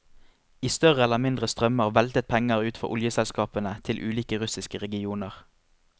I større eller mindre strømmer veltet penger ut fra oljeselskapene til ulike russiske regioner.